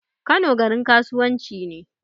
Kano garin kasuwan ci ne